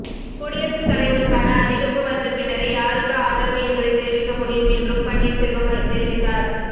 குடியரசுத்தலைவருக்கான அறிவிப்பு வந்த பின்னரே யாருக்கு ஆதரவு என்பதை தெரிவிக்க முடியும் என்றும் பன்னீர் செல்வம் தெரிவித்தார்